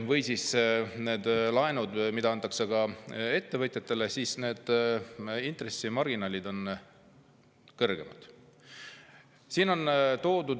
Või siis nendel laenudel, mida antakse ka ettevõtjatele, on need intressimarginaalid kõrgemad.